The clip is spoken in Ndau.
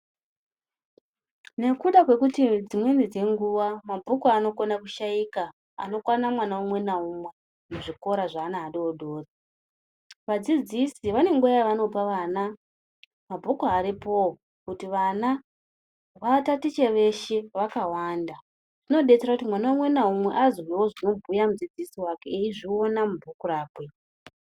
Nekuda kwe kuti dzimweni dze nguva mabhuku ano kona ku shaika ano kwana mwana umwe na umwe mu zvikora zve ana adodori vadzidzisi vane nguva yava nopa vana mabhuku aripowo kuti vana va tatiche veshe vaka wanda zvino detsera kuti mwana umwe na umwe azwewo zvino bhuya mudzidzisi wake eyi zviona mubhuku rakwe.